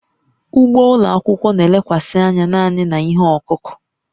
Ugbo ụlọ akwụkwọ na-elekwasị anya naanị na ihe ọkụkụ